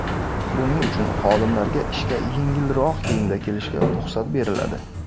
Buning uchun xodimlarga ishga yengilroq kiyimda kelishga ruxsat beriladi.